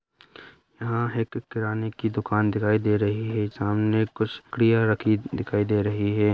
यहां एक किराने की दुकान दिखाई दे रही हैं सामने कुछ क्रिया रखी दिखाई दे रही है।